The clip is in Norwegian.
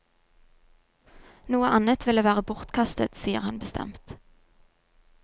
Noe annet ville være bortkastet, sier han bestemt.